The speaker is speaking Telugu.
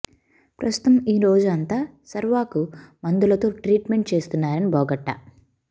ప్రస్తుతం ఈ రోజు అంతా శర్వాకు మందులతో ట్రీట్ మెంట్ చేస్తున్నారని బోగట్టా